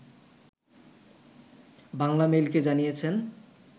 বাংলামেইলকে জানিয়েছেন